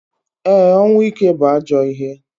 E, ọnwụ ike bu ajọ ihe.